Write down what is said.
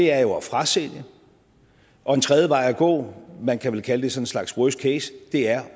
er jo at frasælge og en tredje vej at gå man kan vel kalde det sådan en slags worst case er